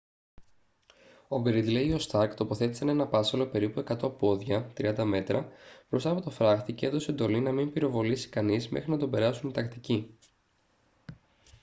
ο γκρίντλεϊ ή ο σταρκ τοποθέτησαν έναν πάσσαλο περίπου 100 πόδια 30 μέτρα μπροστά από τον φράχτη και έδωσε εντολή να μην πυροβολήσει κανείς μέχρι να τον περάσουν οι τακτικοί